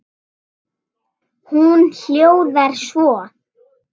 Hún hljóðar svo